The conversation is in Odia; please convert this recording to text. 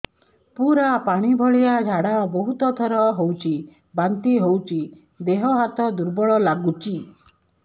ପୁରା ପାଣି ଭଳିଆ ଝାଡା ବହୁତ ଥର ହଉଛି ବାନ୍ତି ହଉଚି ଦେହ ହାତ ଦୁର୍ବଳ ଲାଗୁଚି